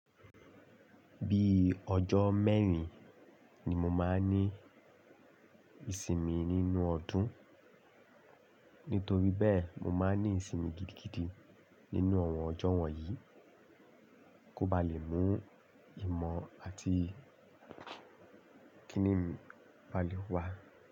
Bí ọjọ́ mẹ́rin ni mo máa ń ní ìsinmi nínú ọdún, nítorí bẹ́ẹ̀ mo máa ń ní ìsinmi gidigidi nínú àwọn ọjọ́ wọ̀nyí kó ba lè mú ìmọ̀ àti Kíni balẹ̀ wá.